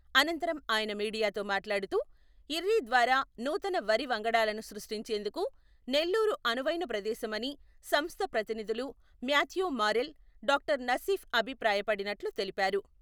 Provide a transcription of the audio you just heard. అనంతరం ఆయన మీడియతో మాట్లాడుతూ, ఇర్రి ద్వారా నూతన వరి వంగడాలను సృష్టించేందుకు నెల్లూరు అనువైన ప్రదేశమని సంస్థ ప్రతినిధులు మ్యాథ్యూ మారెల్, డాక్టర్ నసీఫ్ అభిప్రాయ పడినట్లు తెలిపారు.